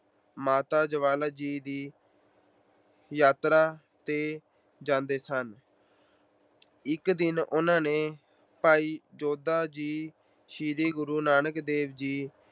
ਮਾਤਾ ਜਵਾਲਾ ਜੀ ਦੀ ਯਾਤਰਾ ਤੇ ਜਾਂਦੇ ਸਨ। ਇੱਕ ਦਿਨ ਉਹਨਾਂ ਨੇ ਭਾਈ ਜੋਧਾ ਜੀ ਸ਼੍ਰੀ ਗੁਰੂ ਨਾਨਕ ਦੇਵ ਜੀ